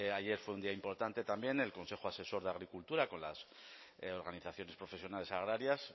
ayer fue un día importante también el consejo asesor de agricultura con las organizaciones profesionales agrarias